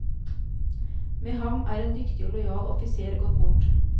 Med ham er en dyktig og lojal offiser gått bort.